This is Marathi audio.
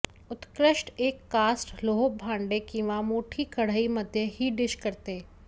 उत्कृष्ट एक कास्ट लोह भांडे किंवा मोठी कढई मध्ये ही डिश करते